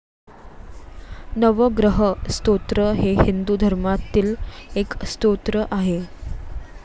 नवग्रह स्तोत्र हे हिंदू धर्मातील एक स्तोत्र आहे.